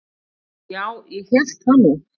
"""Og já, ég hélt það nú."""